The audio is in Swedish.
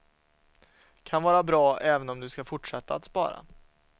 Kan vara bra även om du ska fortsätta att spara.